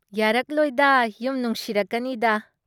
ꯌꯥꯥꯔꯛꯂꯣꯏꯗ ꯌꯨꯝ ꯅꯨꯡꯁꯤꯔꯛꯀꯅꯤꯗ꯫